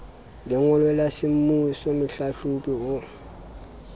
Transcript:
lengolo la semmuso mohlahlobi o